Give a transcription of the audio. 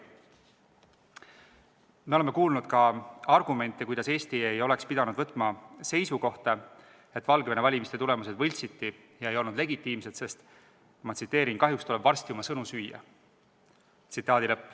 Me oleme kuulnud ka arvamusi, kuidas Eesti ei oleks pidanud võtma seisukohta, et Valgevene valimiste tulemused võltsiti ja ei olnud legitiimsed, sest "kahjuks tuleb varsti oma sõnu süüa".